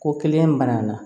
Ko kelen banna